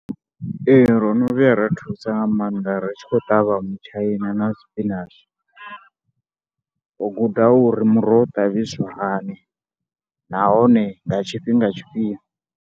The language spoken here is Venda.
Ee, ro no vhuya ra thusa nga maanḓa ri tshi khou ṱavha mutshaina na spinach. Ro guda uri muroho ṱavhiswa hani nahone nga tshifhinga tshifhio.